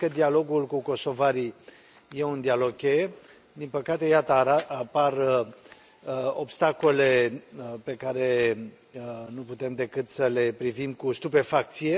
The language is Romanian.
Cred că dialogul cu kosovarii e un dialog cheie. Din păcate, iată, apar obstacole pe care nu putem decât să le privim cu stupefacție.